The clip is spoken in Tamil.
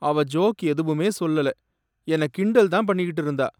அவ ஜோக் எதுவுமே சொல்லல, என்னை கிண்டல்தான் பண்ணிக்கிட்டு இருந்தா.